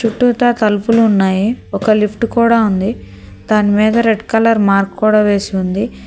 తలుపులు ఉన్నాయి ఒక లిఫ్ట్ కూడా ఉంది దాని మీద రెడ్ కలర్ మార్క్ కూడా వేసి ఉంది.